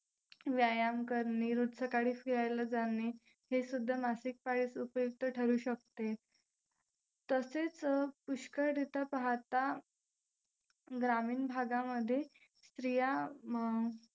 व्यायाम करणे, रोज सकाळी फिरायला जाणे हे सुद्धा मासिक पाळीस उपयुक्त ठरू शकते. तसेच अं पुष्कळरित्या पाहता ग्रामीण भागांमध्ये स्त्रिया